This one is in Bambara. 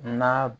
Na